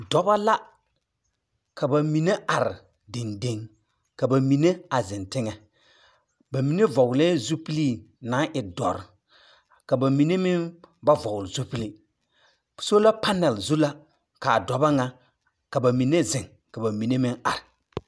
Dɔba la! Ka ba mine are dendeŋ, ka ba mine a zeŋ teŋɛ. Ba mine vɔglɛɛ zupilii naŋ e dɔre, ka ba meŋ ba vɔgle zupili. Sola panal zu la kaa dɔba ŋa, ka ba mine zeŋ ka ba mine meŋ are.